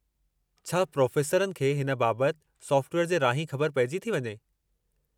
छा प्रोफ़ेसरनि खे हिन बाबतु सोफ़्टवेयर जे राहीं ख़बरु पेइजी थी वञे?